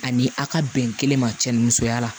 Ani a ka bɛn kelen ma cɛ ni musoya la